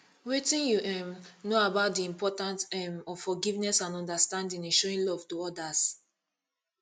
wetin you um know about di importance um of forgiveness and understanding in showing love to odas